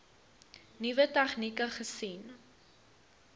nuwe tegnieke gesien